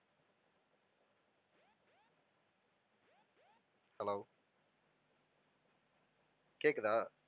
hello கேட்குதா?